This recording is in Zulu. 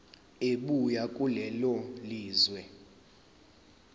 ebuya kulelo lizwe